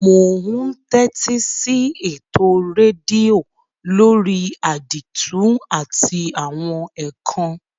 Mo n tẹ́tísí eto redio lórí àdìtú àti àwon ékán